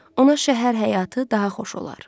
Ona şəhər həyatı daha xoş olar.